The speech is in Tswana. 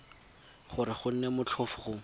gore go nne motlhofo go